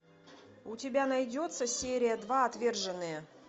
у тебя найдется серия два отверженные